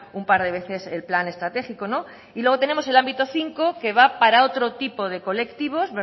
un par de veces el plan estratégico y luego tenemos el ámbito cinco que va para otro tipo de colectivos